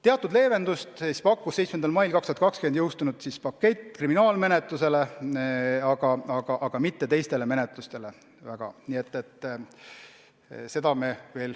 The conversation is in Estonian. Teatud leevendust pakkus 17. mail 2020 jõustunud pakett kriminaalmenetluses, aga teistes menetlustes eriti mitte.